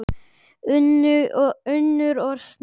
Unnur og Snorri.